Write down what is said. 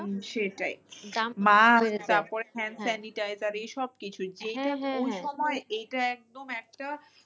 সেটাই সাইনিটাইজার এসব কিছুই এটা একদম একটা